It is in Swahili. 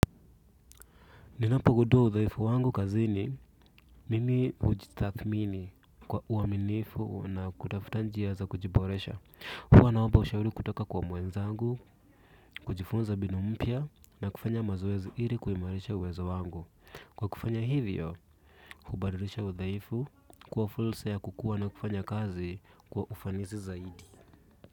Ninapogundua udhaifu wangu kazini mimi hujitathmini kwa uaminifu na kutafuta njia za kujiboresha. Huwa naomba ushauri kutoka kwa mwenzangu kujifunza mbinu mpya na kufanya mazoezi ili kuimarisha uwezo wangu. Kwa kufanya hivyo hubadilisha udhaifu. Huwa fursa ya kukua na kufanya kazi kwa ufanisi zaidi.